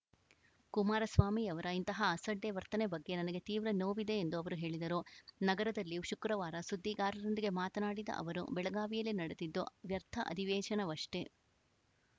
ಕುಮಾರಸ್ವಾಮಿಯವರ ಇಂತಹ ಅಸಡ್ಡೆ ವರ್ತನೆ ಬಗ್ಗೆ ನನಗೆ ತೀವ್ರ ನೋವಿದೆ ಎಂದು ಅವರು ಹೇಳಿದರು ನಗರದಲ್ಲಿ ಶುಕ್ರವಾರ ಸುದ್ದಿಗಾರರೊಂದಿಗೆ ಮಾತನಾಡಿದ ಅವರು ಬೆಳಗಾವಿಯಲ್ಲಿ ನಡೆದಿದ್ದು ವ್ಯರ್ಥ ಅಧಿವೇಶನವಷ್ಟೇ